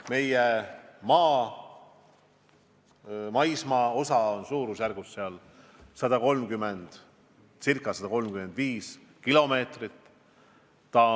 Meie maismaapiiri on seal ca 130 või 135 kilomeetrit.